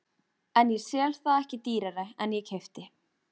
En ég sel það ekki dýrara en ég keypti.